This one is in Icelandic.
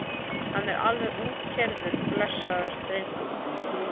Hann er alveg útkeyrður blessaður drengurinn.